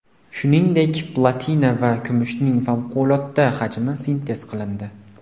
Shuningdek, platina va kumushning favqulodda hajmi sintez qilindi.